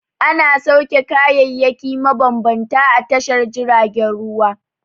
Ana sauke kayayyaki mabambanta a tashar jiragen ruwa.